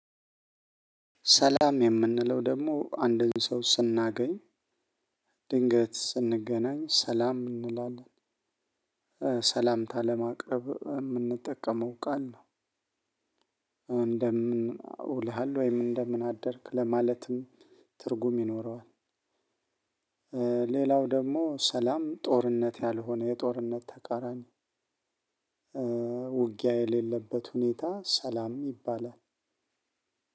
ሰላም የምንለው ደግሞ አንድን ሰው ስናገኝ ድንገት ስንገናኝ ሰላም እንላለን ሰላምታ ለማቅረብ የምንጠቀመው ቃል ነው። እንደምን ውለሃል ወይም እንደምን አደርክ ለማለትም ትርጉም ይኖረዋል። ሌላው ደግሞ ሰላም ጦርነት ያልሆነ የጦርነት ተቃራኒ። ውጊያ የሌለበት ሁኔታ ሰላም ይባላል።